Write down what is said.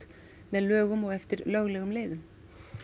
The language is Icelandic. með lögum og eftir löglegum leiðum